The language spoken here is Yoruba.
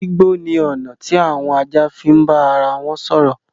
Gbígbó ni ọ̀nà tí àwọn ajá fi ń bá ara wọn sọ̀rọ̀.